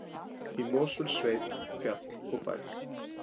Í Mosfellssveit, fjall og bær.